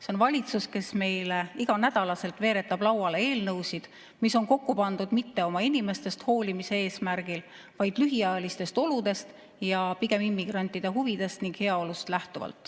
See on valitsus, kes meile iganädalaselt veeretab lauale eelnõusid, mis on kokku pandud mitte oma inimestest hoolimise eesmärgil, vaid pigem lähtudes lühiajalistest oludest ning immigrantide huvidest ja heaolust.